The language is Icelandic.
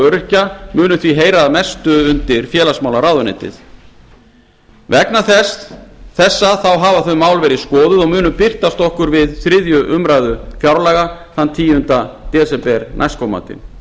öryrkja munu því heyra að mestu undir félagsmálaráðuneytið vegna þessa hafa þau mál verið skoðuð og munu birtast okkur við þriðju umræðu fjárlaga þann tíunda desember næstkomandi án